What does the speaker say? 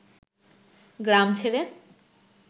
গ্রাম ছেড়ে